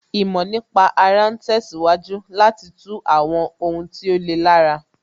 Ìmọ̀ nípa ara ń tẹ̀síwájú láti tú àwọn ohun tí ó le lára